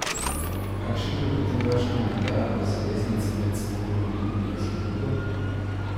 Kakšen pa je potem vaš komentar, da zaveznice medsebojno vohunijo za drugo?